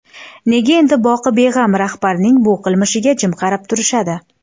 Nega endi boqibeg‘am rahbarning bu qilmishiga jim qarab turishadi?